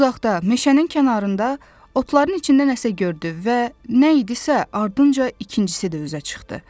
Uzaqda meşənin kənarında, otların içində nəsə gördü və nə idisə, ardınca ikincisi də üzə çıxdı.